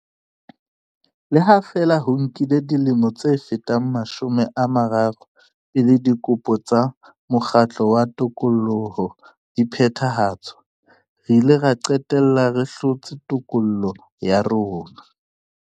Le ha feela ho nkile dilemo tse fetang mashome a mararo pele dikopo tsa mokgatlo wa tokoloho di phethahatswa, re ile ra qetella re hlotse tokoloho ya rona.